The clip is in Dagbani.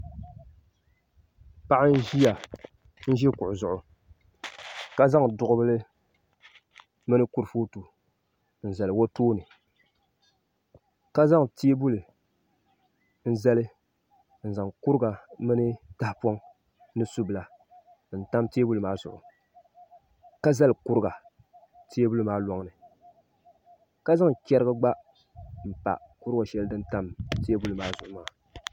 Paɣa n ʒi kuɣu zuɣu ka zaŋ duɣubili mini kurifooti n zali o tooni ka zaŋ teebuli n zali n zaŋ kuriga mini tahapoŋ ni subila n tam teebuli maa zuɣu ka zali kuriga teebuli maa loŋni ka zaŋ chɛrigi gba n pa kuriga shɛli din tam teebuli maa zuɣu maa